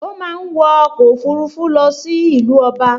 O máa wọ ọkọ̀ òfurufú lọ sí ìlú ọba